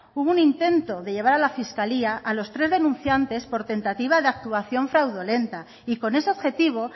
hubo un intento de llevar a la fiscalía a los tres denunciantes por tentativa de actuación fraudulenta y con ese objetivo